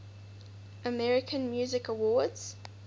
american music awards